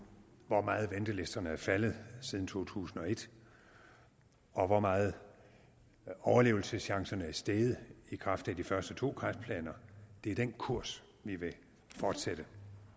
hvor meget ventelisterne er faldet siden to tusind og et og hvor meget overlevelseschancerne er steget i kraft af de første to kræftplaner det er den kurs vi vil fortsætte